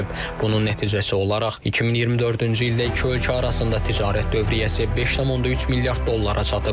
Bunun nəticəsi olaraq 2024-cü ildə iki ölkə arasında ticarət dövriyyəsi 5.3 milyard dollara çatıb.